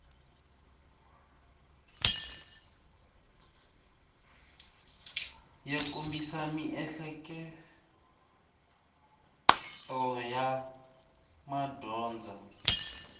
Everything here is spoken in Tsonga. ya kombisa miehleketo ya madyondza